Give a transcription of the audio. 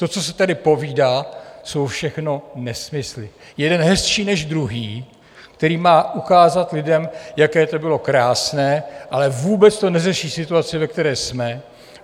To, co se tady povídá, jsou všechno nesmysly, jeden hezčí než druhý, který má ukázat lidem, jaké to bylo krásné, ale vůbec to neřeší situaci, ve které jsme.